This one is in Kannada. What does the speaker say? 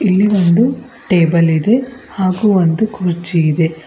ಇಲ್ಲಿ ಒಂದು ಟೇಬಲ್ ಇದೆ ಹಾಗು ಒಂದು ಕುರ್ಚಿ ಇದೆ.